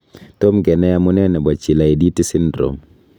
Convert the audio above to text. Tom kenai amune nebo Chilaiditi syndrome .